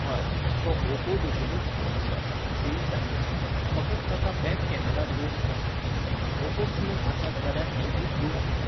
हय, तो ओपो भशेनूच फोन आसा, सेम टायप. फकत ताका बॅक कॅमरा दोन आसात. ओपोक तीन आसात जाल्यार एलजीक दोन आसात